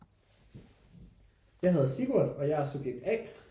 Jeg hedder Simon og jeg er subjekt A